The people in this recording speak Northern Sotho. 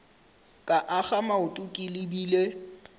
ka akga maoto ke lebile